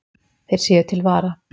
Þeir séu til vara